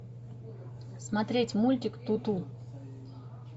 смотреть мультик туту